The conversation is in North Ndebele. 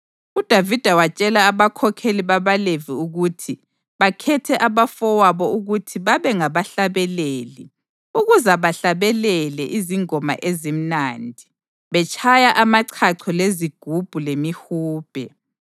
UDavida watshela abakhokheli babaLevi ukuthi bakhethe abafowabo ukuthi babe ngabahlabeleli ukuze bahlabelele izingoma ezimnandi, betshaya amachacho lezigubhu lemihubhe.